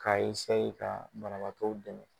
K'a ka banabaatɔw dɛmɛ